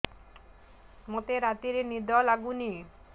ମୋତେ ରାତିରେ ନିଦ ଲାଗୁନି